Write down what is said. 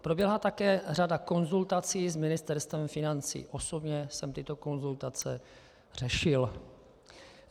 Proběhla také řada konzultací s Ministerstvem financí, osobně jsem tyto konzultace řešil.